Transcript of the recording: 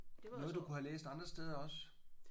Noget du kunne have læst andre steder også?